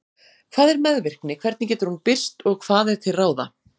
Hvað er meðvirkni, hvernig getur hún birst og hvað er til ráða?